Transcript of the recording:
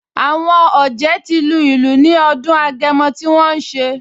Àwọn ọ̀jẹ̀ ti lu ìlù ní ọdún Agẹmọ tí wọ́n ṣe